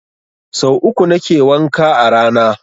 Sau uku nake wanka a rana